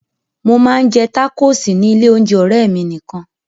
Mo máa ń jẹ tákóòsì ní ilé-oúnjẹ ọ̀rẹ́ mi nìkan.